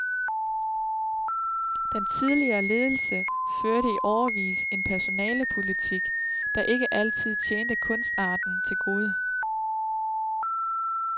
Den tidligere ledelse førte i årevis en personalepolitik, der ikke altid tjente kunstarten til gode.